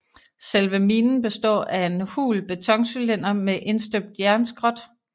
Selve minen består af en hul betoncylinder med indstøbt jernskrot